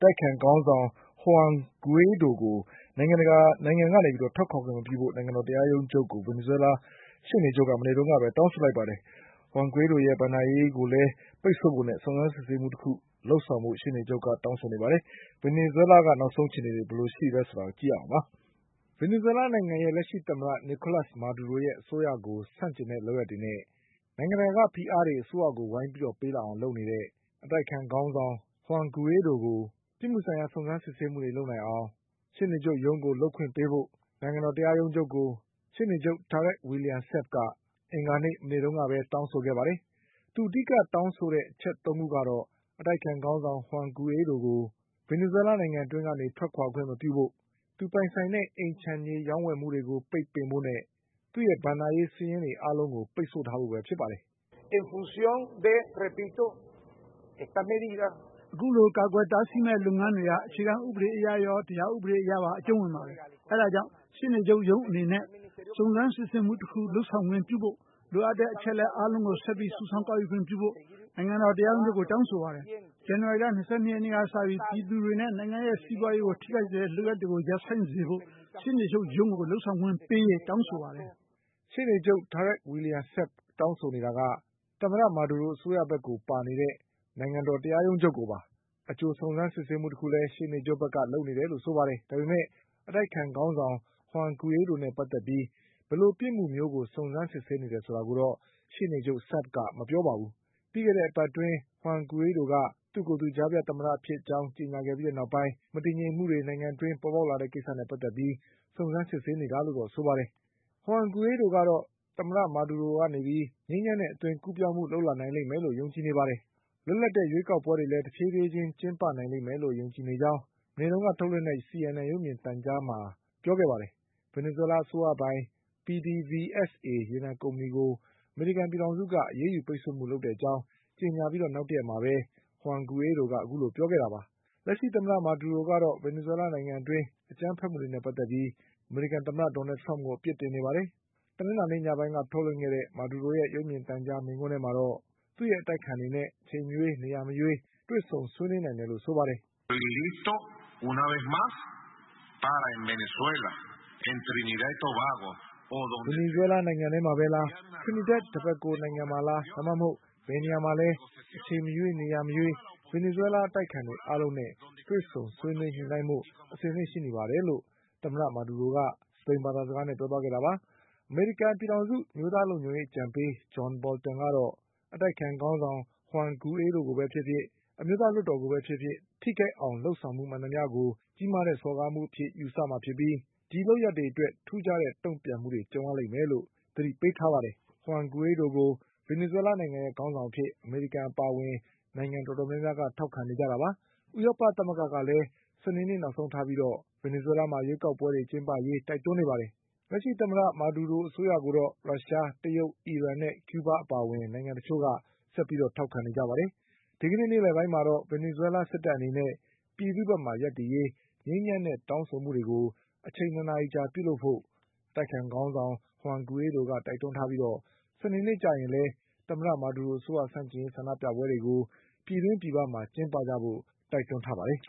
တိုက်အခံခေါင်းဆောင် Juan Guaido ကို နိုင်ငံကနေထွက်ခွါခွင့်မပြုဖို့ နိုင်ငံတော်တရားရုံးချုပ်ကို ဗင်နီဇွဲလားရှေ့နေချုပ်က မနေ့ကပဲတောင်းဆို လိုက်ပါတယ်။ Juan Guaidoရဲ့ ဘဏ္ဍာရေးကိုလည်းပိတ်ဆို့ဖို့နဲ့ စုံစမ်းစစ်ဆေးမှုတခုလုပ်ဆောင်ဖို့ကိုလည်း ရှေ့နေချုပ်က တောင်းဆိုခဲ့တာပါ။ ဗင်နီဇွဲလားရဲ့နောက်ဆုံးအခြေအနေဘယ်လိုရှိသလဲဆိုတာ ကိုကျော်အောင်လွင်က ပြောပြမှာပါ။ ဗင်နီဇွဲလားနိုင်ငံရဲ့လက်ရှိသမ္မတ Nicolas Maduroရဲ့အစိုးရကိုဆန့်ကျင်တဲ့ လုပ်ရပ်တွေနဲ့ နိုင်ငံတကာကဖိအားတွေ အစိုးရကိုဝိုင်းပေးလာအောင်လုပ်နေတဲ့ အတိုက်အခံခေါင်းဆောင် Juan Guaidoကို ပြစ်မှုဆိုင်ရာစုံစမ်းစစ်ဆေးမှုတွေ လုပ်ဆောင်နိုင်အောင် ရှေ့နေချုပ်ရုံးကိုလုပ်ခွင်ပေးဖို့ နိုင်ငံတော်တရားရုံးချုပ်ကို ရှေ့နေချုပ် Tarek William Saab က အင်္ဂါနေ့ မနေ့တုန်းကတောင်းဆိုခဲ့ပါတယ်။ သူအဓိကတောင်းဆိုတဲ့အချက်သုံးခုကတော့ အတိုက်အခံခေါင်းဆောင် Juan Guaidoကို ဗင်နီဇွဲလားနိုင်ငံအတွင်းကနေ ထွက်ခွါခွင့်မပြုဖို့၊ သူပိုင်ဆိုင်တဲ့ အိမ်ခြံမြေရောင်းဝယ်မှုတွေကို ပိတ်ပင် ဖို့နဲ့ သူ့ရဲ့ဘဏ္ဍာရေးစာရင်းတွေအားလုံးကို့ ပိတ်ဆို့ထားဖို့ပဲဖြစ်ပါတယ်။ "အခုလိုကာကွယ်တားဆီးမယ့်လုပ်ငန်းတွေက အခြေခံဥပဒေအရရော တရားဥပဒေအရပါအကျုံးဝင်ပါတယ်။ အဲဒါ ကြောင့် ရှေ့နေချုပ်ရုံးအနေနဲ့ စုံစမ်းစစ်ဆေးမှုတခုကိုလုပ်ဆောင်ခွင့်ပြုဖို့၊ လိုအပ်တဲ့အချက်အလက်အားလုံးကို ဆက်ပြီး စုဆောင်း ကောက်ယူခွင့်ပြုဖို့ နိုင်ငံတော်တရားရုံးချုပ်ကိုတောင်းဆိုပါတယ်။ ဇန်နဝါရီလ ၂၂ရက်နေ့ကစပြီး ပြည်သူတွေနဲ့ နိုင်ငံရဲ့ စီးပွါးရေးကိုထိခိုက်စေတဲ့လုပ်ရပ်တွေကို ရပ်တန့်စေဖို့ ရှေ့နေချုပ်ရုံးကိုလုပ်ဆောင်ခွင့်ပေးရေး တောင်းဆိုပါ တယ်။" ရှေ့နေချုပ် Tarek William Saabတောင်းဆိုနေတာက သမ္မတ မာဒူရိုအစိုးရဘက်ကိုပါနေတဲ့ တရားရုံးချုပ်ကိုပါ။ အကြိုစုံ စမ်းစစ်ဆေးမှုတခုကိုလည်း ရှေ့နေချုပ်ကလုပ်နေတယ်လို့ဆိုပါတယ်။ ဒါပေမဲ့ အတိုက် အခံခေါင်းဆောင် Juan Guaidoနဲ့ ပတ်သက်ပြီး ဘယ်လိုပြစ်မှုမျိုးကိုစုံစမ်းစစ်ဆေးနေတယ်ဆိုတာကိုတော့ ရှေ့နေချုပ် Saab ကမပြောပါဘူး။ ပြီးခဲ့တဲ့ အပတ်အတွင်း Juan Guaidoက သူ့ကိုယ်သူ ကြားဖြတ်သမ္မတဖြစ်ကြောင်းကြေညာခဲ့ပြီးနောက်ပိုင်း မတည်ငြိမ်မှုတွေဖြစ် ပေါ်လာခဲ့တဲ့ကိစ္စနဲ့ပတ်သက်ပြီးစုံစမ်းစစ်ဆေးနေတာလို့တော့ဆိုပါတယ်။ Juan Guaidoကတော့ သမ္မတမာဒူရိုကနေပြီး ငြိမ်းချမ်းတဲ့အသွင်ကူးပြောင်းမှုလုပ်လာနိုင်လိမ့်မယ်လို့ယုံကြည်နေပြီး လွတ်လပ်တဲ့ရွေးကောက်ပွဲတွေလည်း တဖြေးဖြေးချင်းကျင်းပနိုင်လိမ့်မယ်လို့ယုံကြည်ကြောင်း မနေတုန်းကထုတ်လွှင့်တဲ့ CNN ရုပ်မြင်သံကြားမှာပြောခဲ့ပါတယ်။ ဗင်နီဇွဲလားအစိုးရပိုင် PDVSA ရေနံကုမ္ပဏီကိုအမေရိကန်ပြည်ထောင်စုက အရေး ယူပိတ်ဆို့မှုလုပ်တဲ့အကြောင်းကြေညာပြီးနောက်တရက်မှာပဲ Juan Guaidoကအခုလိုပြောခဲ့တာပါ။ သမ္မတ မာဒူရိုက တော့ ဗင်နီဇွဲလားနိုင်ငံအတွင်းက အကြမ်းဖက်မှုတွေနဲ့ပတ်သက်ပြီး အမေရိကန်သမ္မတထရမ့်ကိုအပြစ်တင်နေပါတယ်။ တနင်္လာနေ့ညပိုင်းကထုတ်လွှင့်ခဲ့တဲ့ မာဒူရိုရဲ့ရုပ်မြင်သံကြားမိန့်ခွန်းထဲမှာတော့ သူ့ရဲ့အတိုက်အခံတွေနဲ့အချိန်မရွေးနေရာ မရွေးတွေ့ဆုံဆွေးနွေးနိုင်တယ်လို့ဆိုပါတယ်။ "ဗင်နီဇွဲလားနိုင်ငံထဲမှာပဲလား၊ Trinidad Tobago နိုင်ငံမှာလား ဒါမှမဟုတ် ဘယ်နေရာမှာလဲ။ အချိန်မရွေးနေရာမရွေး ဗင်နီဇွဲလားအတိုက်အခံတွေအားလုံးနဲ့ တွေ့ဆုံဆွေးနွေးညှိနှိုင်းဖို့အဆင်သင့်ရှိနေပါတယ်လို့ သမ္မတမာဒူရိုကပြောခဲ့တာ ပါ" အမေရိကန်ပြည်ထောင်စု အမျိုးသားလုံခြုံရေးအကြံပေး John Bolton ကတော့ အတိုက်အခံခေါင်းဆောင် Juan Guaido ကိုပဲဖြစ်ဖြစ် အမျိုးသားလွှတ်တော်ကိုပဲဖြစ်ဖြစ် ထိခိုက်အောင်လုပ်ဆောင်မှုမှန်သမျှကို ကြီးမားတဲ့ စော်ကားမှုအဖြစ်ယူဆ မှာဖြစ်ပြီး ဒီလုပ်ရပ်တွေအတွက် ထူးခြားတဲ့တုန့်ပြန်မှုတွေကြုံရလိမ့်မယ်လို့ သတိပေးထားပါတယ်။ Juan Guaidoကို ဗင်နီဇွဲလားနိုင်ငံရဲ့ခေါင်းဆောင်အဖြစ် အမေရိကန်အပါအဝင် နိုင်ငံတော်တော်များများက ထောက်ခံနေကြပါတယ်။ ဥရောပ သမဂ္ဂကလည်း စနေနေ့နောက်ဆုံးထားပြီး ရွေးကောက်ပွဲတွေကျင်းပရေးတိုက်တွန်းနေပါတယ်။ လက်ရှိသမ္မတ မာဒူရိုအစိုးရကိုတော့ ရုရှား၊ တရုတ်၊ အီရန်နဲ့ကျူးဘားအပါအဝင် နိုင်ငံတချို့က ဆက်ပြီးထောက်ခံနေကြပါတယ်။ ဒီကနေ့နေ့လည်ပိုင်းမှာတော့ ဗင်နီဇွဲလားစစ်တပ်အနေနဲ့ ပြည်သူ့ဘက်မှာရပ်တည်ရေး ငြိမ်းချမ်းတဲ့တောင်းဆိုမှုတွေ အချိန် ၂နာရီကြာပြုလုပ်ကြဖို့ အတိုက်အခံခေါင်းဆောင် Juan Guaidoကတိုက်တွန်းထားပြီး စနေနေ့ကျရင်လည်း သမ္မတမာဒူရိုအစိုးရဆန့်ကျင်ရေးဆန္ဒပြပွဲတွေကို ပြည်တွင်းပြည်ပမှာကျင်းပဖို့ တိုက်တွန်းထားပါတယ်